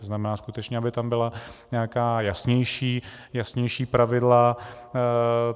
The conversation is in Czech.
To znamená skutečně, aby tam byla nějaká jasnější pravidla.